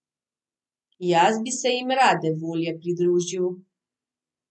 Jaz bi se jim rade volje pridružil.